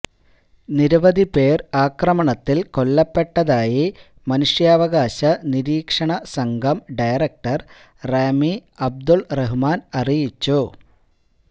നിരവധി പേര് ആക്രമണത്തില് കൊല്ലപ്പെട്ടതായി മനുഷ്യാവകാശ നിരീക്ഷണ സംഘം ഡയറക്ടര് റാമി അബ്ദുള് റഹ്മാന് അറിയിച്ചു